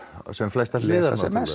sem flestar hliðar